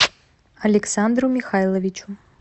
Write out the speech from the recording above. александру михайловичу